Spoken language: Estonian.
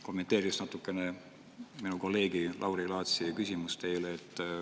Kommenteeriks natukene minu kolleegi Lauri Laatsi küsimust teile.